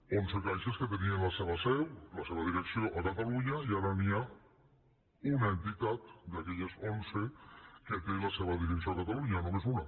onze caixes que tenien la seva seu la seva direcció a catalunya i ara hi ha una entitat d’aquelles onze que té la seva direcció a catalunya només una